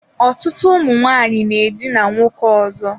Ọtụtụ ụmụ nwaanyị na-edina nwoke ọzọ.